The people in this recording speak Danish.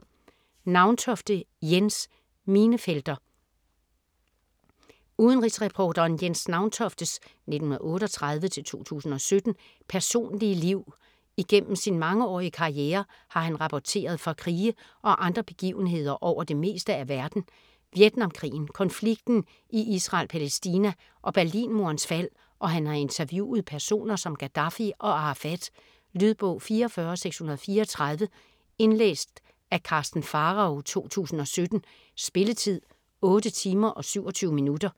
Nauntofte, Jens: Minefelter Udenrigsreporteren Jens Nauntoftes (1938-2017) personlige liv. Igennem sin mangeårige karriere har han rapporteret fra krige og andre begivenheder over det meste af verden herunder Vietnamkrigen, konflikten i Israel/Palæstina og Berlinmurens fald, og han har interviewet personer som Gaddafi og Arafat. Lydbog 44634 Indlæst af Karsten Pharao, 2017. Spilletid: 8 timer, 27 minutter.